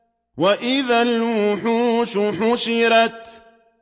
وَإِذَا الْوُحُوشُ حُشِرَتْ